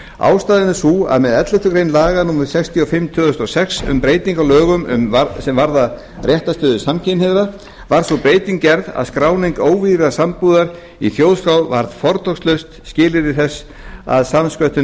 ástæðan er sú að með elleftu grein laga númer sextíu og fimm tvö þúsund og sex um breyting á lögum sem varða réttarstöðu samkynhneigðra var sú breyting gerð að skráning óvígðrar sambúðar í þjóðskrá varð fortakslaust skilyrði þess að samsköttun